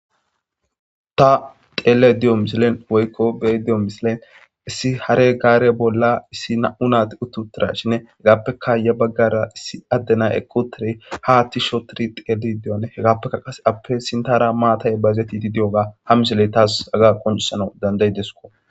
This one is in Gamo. ta xeele di7o misilen woykko bey diyo misilen issi hare gaare bolla issi na7u naati uttutira shine hegaappeka ya baggara issi addena eqotire ha atti shootiri xeeli diyone hegaappekka qase appe sintara maatay bayizeti di diyoga ha misiley taas aga qoncisana dandayi disko